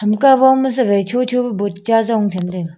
Hamka wo ma sawai chocho pe board cha Jong chhamtaiga.